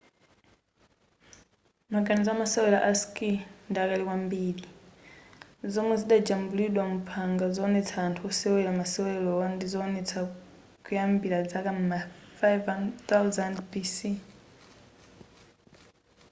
maganizo amawesera a skii ndi akale kwambiri zomwe zidajambulidwa muphanga zowonetsa anthu osewera masewerowa ndizowonetsa kuyambira zaka m'ma 5000 bc